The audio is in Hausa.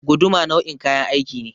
Guduma nau'in kayan aiki ne.